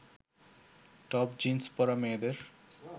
top jeans পরা মেয়েদের